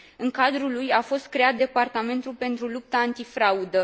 În cadrul lui a fost creat Departamentul pentru Lupta Antifraudă